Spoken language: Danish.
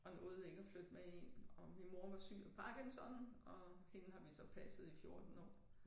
Og nåede ikke at flytte med ind og min mor var syg af Parkinson og hende har vi så passet i 14 år